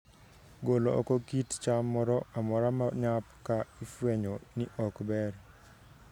Golo oko kit cham moro amora ma nyap ka ifwenyo ni ok ber